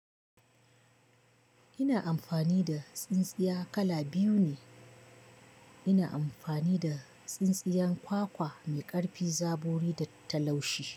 Ina amfani da tsintsiya kala biyu ne. Ina amfani da tsintsiyan kwakwa mai ƙarfin zabori da ta laushi.